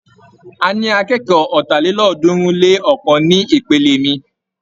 A ní akékọ̀ọ́ ọ̀tàlélọ́ọ̀ọ́dúnrún-lé-ọ̀kan ní ìpele mi.